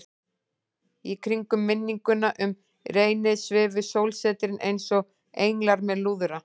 Í kringum minninguna um Reyni svifu sólsetrin einsog englar með lúðra.